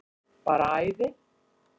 Bara æði.